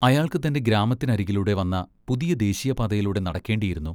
അയാൾക്ക് തൻ്റെ ഗ്രാമത്തിനരികിലൂടെ വന്ന പുതിയ ദേശീയപാതയിലൂടെ നടക്കേണ്ടിയിരുന്നു.